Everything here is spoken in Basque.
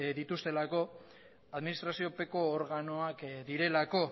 dituztelako administraziopeko organoak direlako